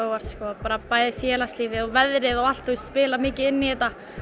óvart sko bæði félagslífið og veðrið og allt spilar mikið inn í þetta